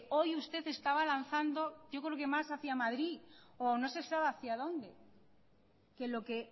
hoy usted estaba lanzando yo creo que más hacia madrid o no se sabe hacia donde que lo que